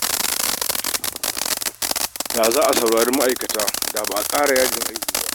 Da za a saurari ma'aikata, da ba a ƙara yajin aiki ba